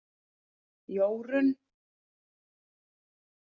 Jórunn